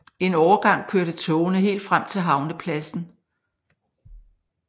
En overgang kørte togene helt frem til havnepladsen